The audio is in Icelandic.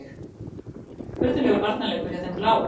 Furðulegur varnarleikur hjá þeim bláu.